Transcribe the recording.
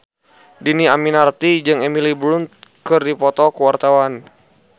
Dhini Aminarti jeung Emily Blunt keur dipoto ku wartawan